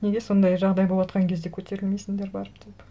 неге сондай жағдай болыватқан кезде көтерілмейсіндер барып деп